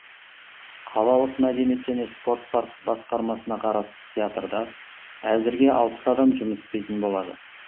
қалалық мәдениет және спорт басқармасына қарасты театрда әзірге алпыс адам жұмыс істейтін болады